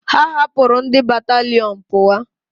Ha hapuru ndi bataliọnu puwa